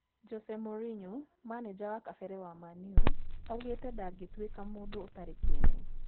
Jose Mourinho: manĩja wa kabere wa Man-U augite ndangĩtuĩka mũndũ ũtarĩ kĩene